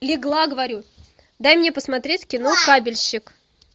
легла говорю дай мне посмотреть кино кабельщик